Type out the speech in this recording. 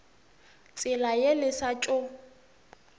tsela ye le sa tšo